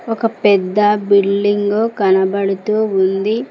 ఒక పెద్ద బిల్డింగు కనబడుతూ ఉంది.